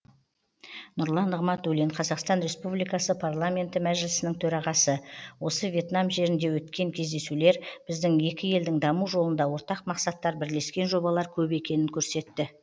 нұрлан нығматуллин қазақстан республикасы парламенті мәжілісінің төрағасы осы вьетнам жерінде өткен кездесулер біздің екі елдің даму жолында ортақ мақсаттар бірлескен жобалар көп екенін көрсетті